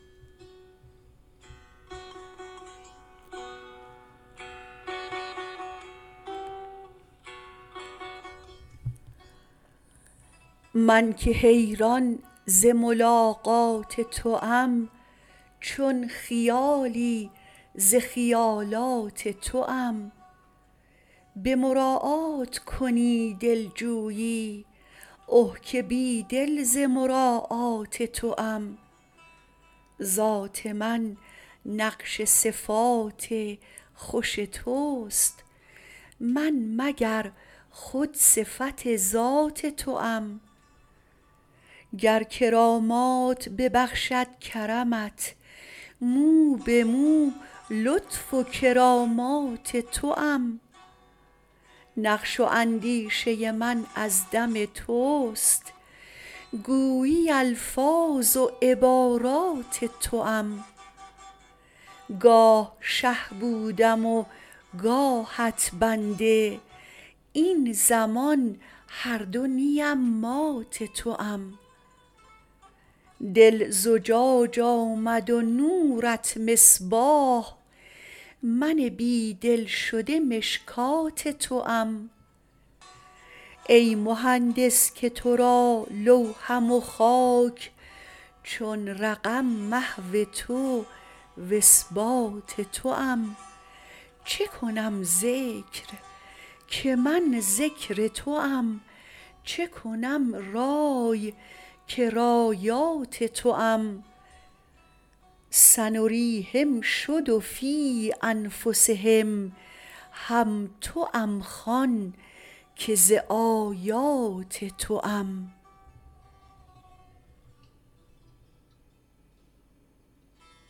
من که حیران ز ملاقات توام چون خیالی ز خیالات توام به مراعات کنی دلجویی اه که بی دل ز مراعات توام ذات من نقش صفات خوش توست من مگر خود صفت ذات توام گر کرامات ببخشد کرمت مو به مو لطف و کرامات توام نقش و اندیشه من از دم توست گویی الفاظ و عبارات توام گاه شه بودم و گاهت بنده این زمان هر دو نیم مات توام دل زجاج آمد و نورت مصباح من بی دل شده مشکات توام ای مهندس که تو را لوحم و خاک چون رقم محو تو و اثبات توام چه کنم ذکر که من ذکر توام چه کنم رای که رایات توام سنریهم شد و فی انفسهم هم توام خوان که ز آیات توام